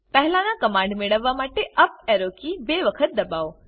પહેલા ના કમાંડ મેળવવા માટે અપ એરો કી બે વખત દબાઓ